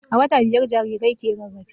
A wata biyar jarirai ke rarafe.